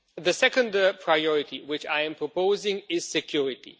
The second priority which I am proposing is security.